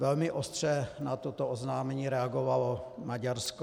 Velmi ostře na toto oznámení reagovalo Maďarsko.